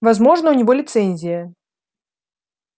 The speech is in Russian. возможно у него лицензия